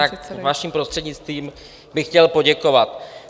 Tak vaším prostřednictvím bych chtěl poděkovat.